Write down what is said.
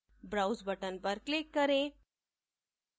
browse button पर click करें